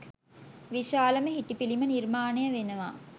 විශාලම හිටි පිළිම නිර්මාණය වෙනවා.